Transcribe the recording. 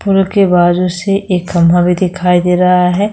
Pool के बाजू से एक खंभा भी दिखाई दे रहा है।